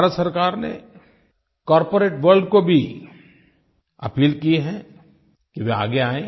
भारत सरकार ने corporate world को भी अपील की है कि वे आगे आएँ